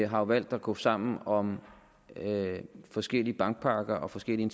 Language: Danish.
har valgt at gå sammen om forskellige bankpakker og forskellige